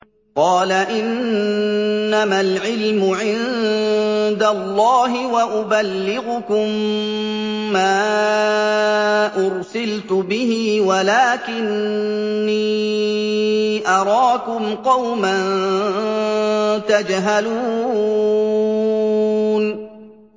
قَالَ إِنَّمَا الْعِلْمُ عِندَ اللَّهِ وَأُبَلِّغُكُم مَّا أُرْسِلْتُ بِهِ وَلَٰكِنِّي أَرَاكُمْ قَوْمًا تَجْهَلُونَ